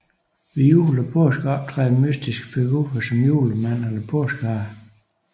Ved jul og påske optræder mytiske figurer som Julemanden eller Påskeharen